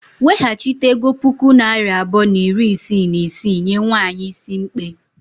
Weghachite ego puku naira abụọ na iri isii na isii nye nwanyị is mkpe.